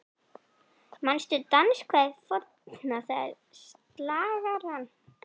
Manstu danskvæðið forna, það er slagarann